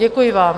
Děkuji vám.